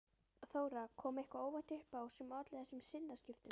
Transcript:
Þóra: Kom eitthvað óvænt upp á sem olli þessum sinnaskiptum?